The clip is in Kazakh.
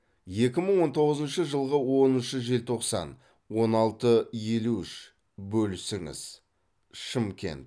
екі мың он тоғызыншы жылғы оныншы желтоқсан он алты елу үш бөлісіңіз шымкент